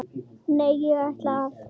Nei, ég ætla að.